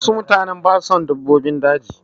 Wasu mutane ba su son dabbobin daji.